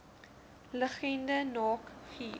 liggende naak guur